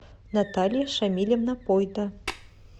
наталья шамильевна пойто